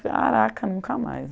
Caraca, nunca mais.